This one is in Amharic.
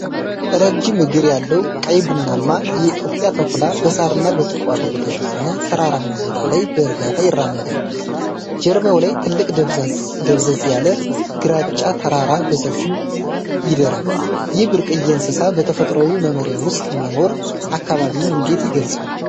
ረጅም እግር ያለው ቀይ ቡናማ የኢትዮጵያ ተኩላ በሳርና በቁጥቋጦ በተሸፈነ ተራራማ ቦታ ላይ በእርጋታ ይራመዳል። ጀርባው ላይ ትልቅ ደብዘዝ ያለ ግራጫ ተራራ በሰፊው ይደራል። ይህ ብርቅዬ እንስሳ በተፈጥሮው መኖሪያ ውስጥ መኖሩ አካባቢውን እንዴት ይገልጸዋል?